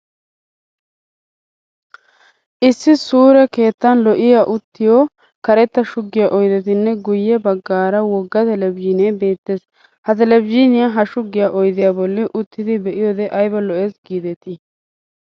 Issi sure keettan lo'iyaa uttiyo karetta shuggiya oydettinne guyye baggaara wogga televizhiinee beettes. Ha televizhiiniya ha shuggiya oydiyaa bolli uttidi be'iyoode ayba lo'es giidetii!.